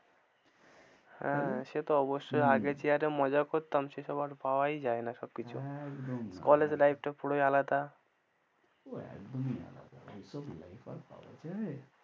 হ্যাঁ সে তো অবশ্যই হম আগে যে হারে মজা করতাম সেসব আর পাওয়াই যায়না সবকিছু, একদম না college life টা পুরোই আলাদা ও একদমই আলাদা, ঐ সব life আর পাওয়া যায়?